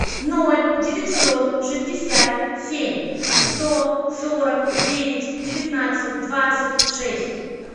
ноль девятьсот шестьдесят семь сто сорок девять девятнадцать двадцать шесть